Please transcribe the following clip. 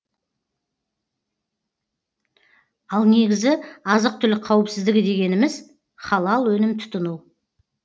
ал негізі азық түлік қауіпсіздігі дегеніміз халал өнім тұтыну